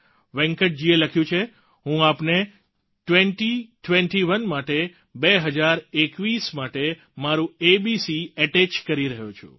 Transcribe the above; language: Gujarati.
વેંકટજીએ લખ્યું છે હું આપને ટ્વેન્ટી ટ્વેન્ટી ઓને માટે બે હજાર એકવીસ માટે મારું એબીસી અટેચ કરી રહ્યો છું